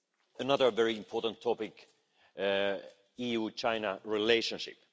Another very important topic is the EU China relationship.